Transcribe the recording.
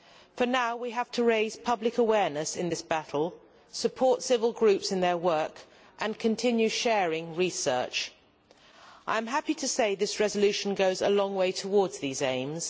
For now, we have to raise public awareness in this battle, support civil groups in their work and continue sharing research. I am happy to say this resolution goes a long way towards these aims.